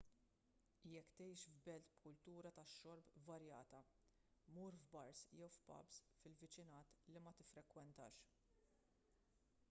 jekk tgħix f'belt b'kultura tax-xorb varjata mur f'bars jew pubs fil-viċinat li ma tiffrekwentax